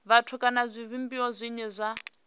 vhathu kana zwivhumbeo zwine zwa